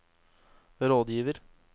rådgiver